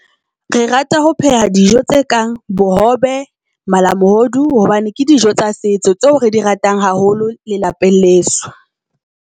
Re rata ho pheha dijo tse kang bohobe, malamohodu hobane ke dijo tsa setso. Tseo re di ratang haholo le lapeng leso.